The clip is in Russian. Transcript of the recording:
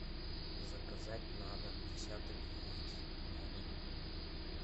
заказать на дом десяток яиц на дом